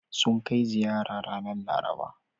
Sun kai ziyara ranar Laraba.